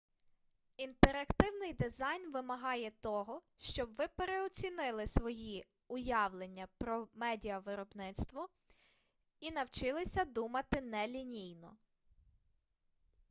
інтерактивний дизайн вимагає того щоб ви переоцінили свої уявлення про медіавиробництво і навчилися думати нелінійно